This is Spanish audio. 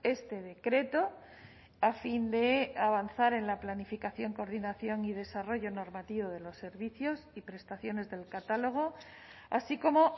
este decreto a fin de avanzar en la planificación coordinación y desarrollo normativo de los servicios y prestaciones del catálogo así como